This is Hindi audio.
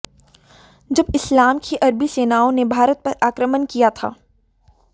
जब इस्लाम की अरबी सेनाओं ने भारत पर आक्रमण किया था